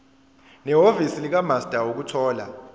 nehhovisi likamaster ukuthola